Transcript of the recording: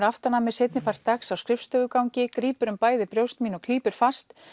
aftan að mér seinni part dagsins á grípur um bæði brjóst mín og klípur fast